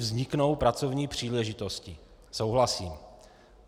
Vzniknou pracovní příležitosti - souhlasím.